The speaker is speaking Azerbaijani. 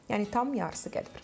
Yəni tam yarısı qədər.